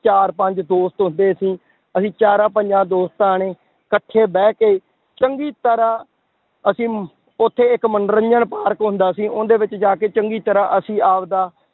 ਚਾਰ ਪੰਜ ਦੋਸਤ ਹੁੰਦੇ ਸੀ, ਅਸੀਂ ਚਾਰਾਂ ਪੰਜਾਂ ਦੋਸਤਾਂ ਨੇ ਇਕੱਠੇ ਬਹਿ ਕੇ ਚੰਗੀ ਤਰ੍ਹਾਂ ਅਸੀਂ ਉੱਥੇ ਇੱਕ ਮੰਨੋਰੰਜਨ ਪਾਰਕ ਹੁੰਦਾ ਸੀ ਉਹਦੇ ਵਿੱਚ ਜਾ ਕੇ ਚੰਗੀ ਤਰ੍ਹਾਂ ਅਸੀਂ ਆਪਦਾ